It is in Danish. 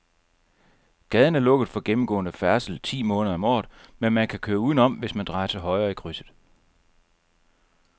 Gaden er lukket for gennemgående færdsel ti måneder om året, men man kan køre udenom, hvis man drejer til højre i krydset.